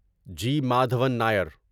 جی Madhavan نیر